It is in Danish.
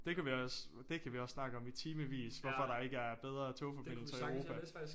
Det kunne vi også det kan vi også snakke om i timevis hvorfor der ikke er bedre togforbindelser i Europa